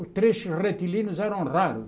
Os trechos retilíneos eram raros.